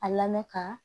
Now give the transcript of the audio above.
A lamɛn ka